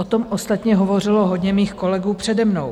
O tom ostatně hovořilo hodně mých kolegů přede mnou.